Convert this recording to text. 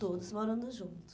Todos morando juntos.